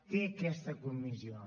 té aquesta comissió